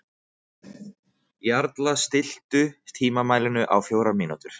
Jarla, stilltu tímamælinn á fjórar mínútur.